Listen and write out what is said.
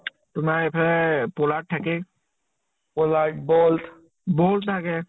তোমাৰ ইফালে পলাৰ্দ থাকে। পলাৰ্দ বল্ত , বল্ত থাকে